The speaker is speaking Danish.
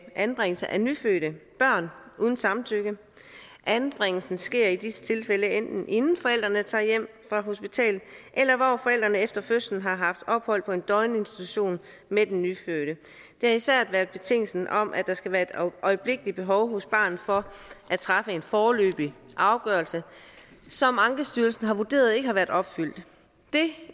anbringelse af nyfødte børn uden samtykke anbringelsen sker i disse tilfælde enten inden forældrene tager hjem fra hospitalet eller hvor forældrene efter fødslen har haft ophold på en døgninstitution med den nyfødte det er især betingelsen om at der skal være et øjeblikkeligt behov hos barnet for at træffe en foreløbig afgørelse som ankestyrelsen har vurderet ikke har været opfyldt det